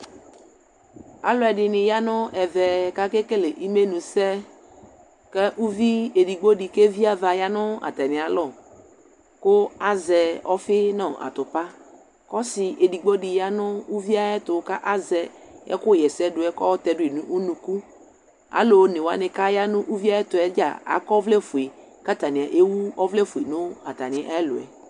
alʋɛdini yanʋ ɛmɛ kʋ akɛ kɛlɛ imɛnʋ sɛ kʋ ʋvidi ɛdigbɔ di kʋ ɛvi aɣa yanʋ atami alɔ kʋ azɛ ɔƒi nʋ atʋpa kʋ ɔsii ɛdigbɔ di yanʋ ʋviɛ ayɛtʋ ka azɛ ɛkʋ yɛsɛ dʋɛ kʋ ɔtɛdʋi nʋ ʋnʋkʋ, alʋ ɔnɛ wani kʋ ayanʋ ʋviɛ ayɛtʋɛ dza akɔ ɔvlɛ ƒʋɛ kʋ atani ɛwʋ ɔvlɛ ƒʋɛ nʋ atani ɛlʋɛ